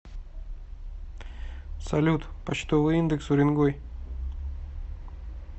салют почтовый индекс уренгой